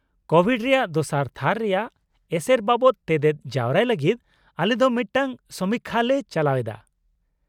-Covid ᱨᱮᱭᱟᱜ ᱫᱚᱥᱟᱨ ᱛᱷᱟᱹᱨ ᱨᱮᱭᱟᱜ ᱮᱥᱮᱨ ᱵᱟᱵᱚᱛ ᱛᱮᱛᱮᱫ ᱡᱟᱣᱨᱟᱭ ᱞᱟᱹᱜᱤᱫ ᱟᱞᱮ ᱫᱚ ᱢᱤᱫᱴᱟᱝ ᱥᱚᱢᱤᱠᱠᱷᱟᱞᱮ ᱪᱟᱞᱟᱣᱮᱫᱟ ᱾